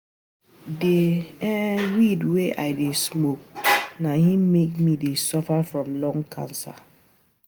um Na the um weed wey I dey smoke na im make me to dey suffer from lung cancer